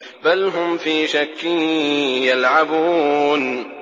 بَلْ هُمْ فِي شَكٍّ يَلْعَبُونَ